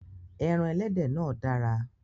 Ẹran ẹlẹ́dẹ̀ náà dára